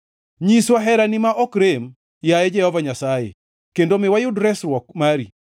Nyiswa herani ma ok rem, yaye Jehova Nyasaye, kendo mi wayud resruok mari.